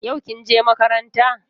Yau kin je makaranta?